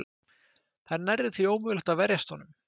Það er nærri því ómögulegt að verjast honum.